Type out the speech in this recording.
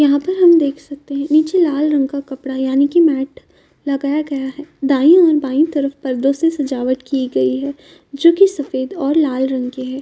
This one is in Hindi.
यहां पर हम देख सकते हैं नीचे लाल रंग का कपड़ा यानी की मैट लगाया गया है दायी और बायीं तरफ पर्दो से सजावट की गयी है जो की सफ़ेद और लाल रंग की है।